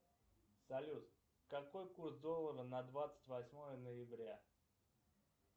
салют какой курс доллара на двадцать восьмое ноября